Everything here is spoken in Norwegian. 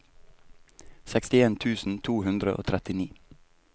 sekstien tusen to hundre og trettini